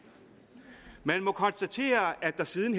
man må konstatere at der siden